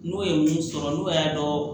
N'u ye mun sɔrɔ n'u y'a dɔn